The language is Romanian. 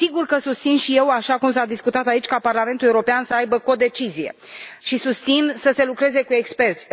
Sigur că susțin și eu, așa cum s a discutat aici, ca Parlamentul European să aibă codecizie, și susțin să se lucreze cu experți.